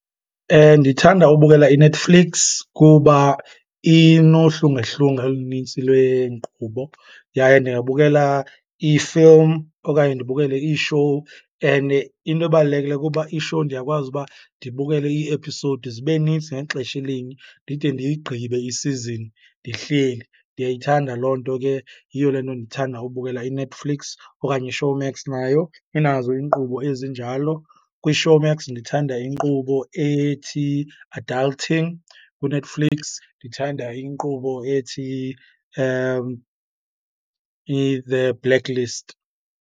Ndithanda ubukela iNetflix kuba inohlungehlunge olunintsi lweenkqubo yaye ndingabukela ii-film okanye ndibukele iishowu. And into ebalulekileyo kuba ishowu ndiyakwazi uba ndibukele ii-episode zibe nintsi ngexesha elinye ndide ndiyigqibe isizini ndihleli, ndiyayithanda loo nto ke. Yiyo le nto ndithanda ubukela iNetflix okanye iShowmax, nayo inazo iinkqubo ezinjalo. KwiShowmxa ndithanda inkqubo ethi Adulting, kwiNetflix ndithanda inkqubo ethi i-The Blacklist.